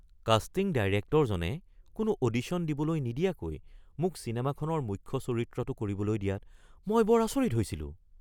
Casting ডাইৰেক্টৰজনে কোনো audition দিবলৈ নিদিয়াকৈ মোক চিনেমাখনৰ মুখ্য চৰিত্ৰটো কৰিবলৈ দিয়াত মই বৰ আচৰিত হৈছিলোঁ।